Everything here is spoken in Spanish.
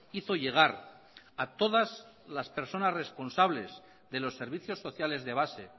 hizo llegar a todas las personas responsables de los servicios sociales de base